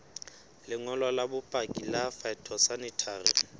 lengolo la bopaki la phytosanitary